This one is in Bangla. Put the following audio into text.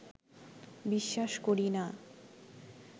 বিশ্বাস করি না